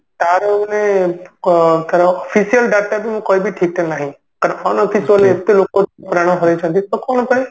ତାର ମାନେ ଅ ତାର official data ବି ମୁଁ କହିବି ଠିକସେ ନାହିଁ କର କାରଣ unofficially ଏତେ ଲୋକ ପ୍ରାଣ ହରେଇଛନ୍ତି ତ କଣ କଣ ପାଇଁ